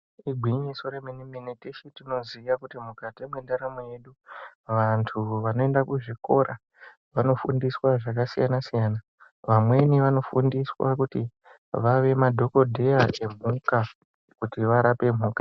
Igwinyiso remenemene teshe tinoziva kuti mukati mentaramo yedu vantu vanoenda kuzvikora vanofundiswa zvakasiyana siyana ,vamweni vanofundiswa kuti vave madhogodheya emhuka, kuti varape mhuka.